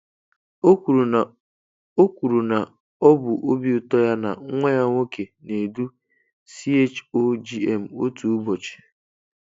O kwuru na ọ kwuru na ọ bụ obi ụtọ ya na nwa ya nwoke na-edu CHOGM otu ụbọchị.